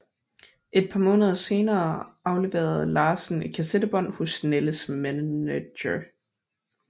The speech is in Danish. Et par måneder senere afleverede Larsen et kassettebånd hos Nalles manager